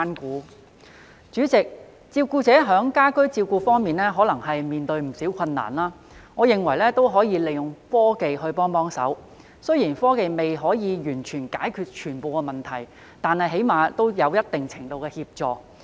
代理主席，照顧者在家居照顧方面可能面對不少困難，我認為可以利用科技幫忙，雖然科技未能完全解決所有問題，但最少也可提供一定程度的協助。